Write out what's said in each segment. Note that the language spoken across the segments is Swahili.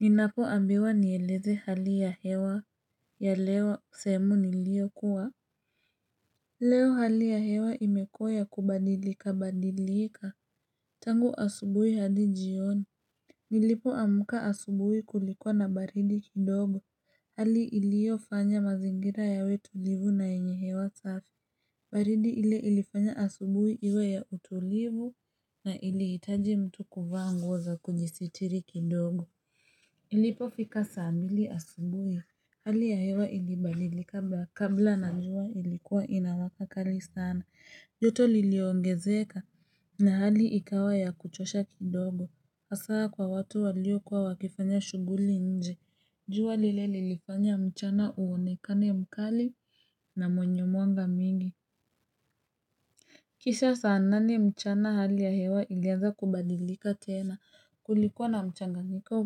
Ninapo ambiwa nieleze hali ya hewa ya leo sehemu nilio kuwa. Leo hali ya hewa imekuwa ya kubadilika badilika. Tangu asubuhi hadi jioni. Nilipo amka asubuhi kulikuwa na baridi kidogo. Hali ilio fanya mazingira ya we tulivu na yenye hewa safi. Baridi ile ilifanya asubuhi iwe ya utulivu na iliitaji mtu kuvaa nguo za kujisitiri kidogo. Ilipofika saambili asubuhi, hali ya hewa ilibadilika kabla na jua ilikuwa inawaka kali sana, joto liliongezeka na hali ikawa ya kuchosha kidogo. Asaa kwa watu walio kuwa wakifanya shuguli nje, jua lile lilifanya mchana uonekane mkali na mwenye mwanga mingi. Kisha saa nane mchana hali ya hewa ilianza kubadilika tena kulikuwa na mchanganyiko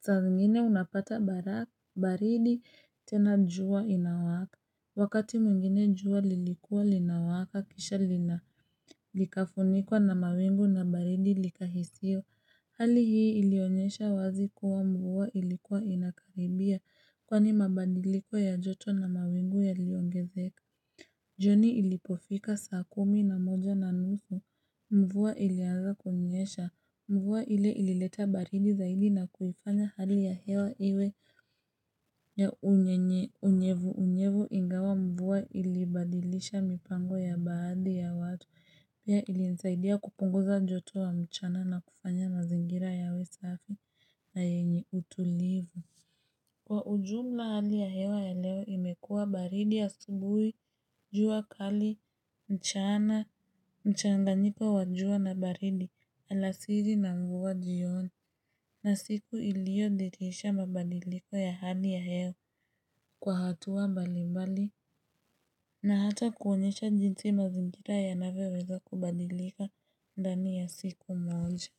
saa zingine unapata baridi tena jua inawaka Wakati mwingine jua lilikuwa linawaka kisha lina likafunikwa na mawingu na baridi likahisio Hali hii ilionyesha wazi kuwa mvua ilikuwa inakaribia kwa ni mabadiliko ya joto na mawingu ya liongezeka jioni ilipofika saa kumi na moja na nusu mvua ilianza kunyesha mvua ile ilileta baridi zaidi na kuifanya hali ya hewa iwe ya unyevu unyevu ingawa mvua ilibadilisha mipango ya baadhi ya watu pia ilinisaidia kupunguza joto wa mchana na kufanya mazingira yawe safi na yenye utulivu Kwa ujumla hali ya hewa ya leo imekuwa baridi asubuhi, jua kali, mchana, mchanganyiko wajua na baridi alasizi na mvua jioni na siku ilio dhirisha mabadiliko ya hali ya hewa kwa hatua mbalimbali na hata kuonyesha jinsi mazingira ya navyoweza kubadilika ndani ya siku moja.